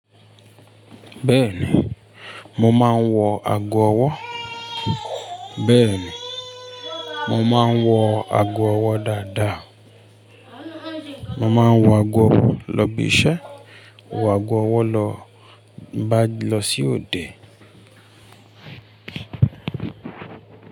Bẹ́ẹ̀ni, mo máa ń wọ ago ọwọ́, bẹ́ẹ̀ni, mo máa ń wọ ago ọwọ́ dáadáa. Mo máa ń wọ ago ọwọ́ lọ ìbíṣẹ̀, wọ ago ọwọ́ lọ bá lọ sí òde.